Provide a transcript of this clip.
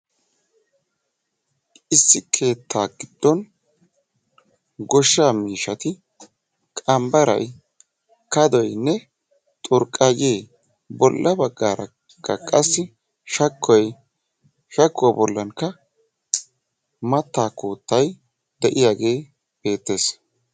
Issi keettaa giddon goshshaa miishshati qanbbarayi, kadoynne, xurqqayyee bolla baggaarakka qassi shakkuwa bollankka mattaa koottayi de'iyagee beettes.